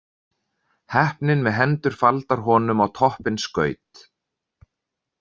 Heppnin með hendur faldar honum á toppinn skaut.